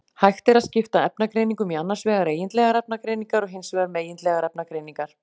Hægt er að skipta efnagreiningum í annars vegar eigindlegar efnagreiningar og hins vegar megindlegar efnagreiningar.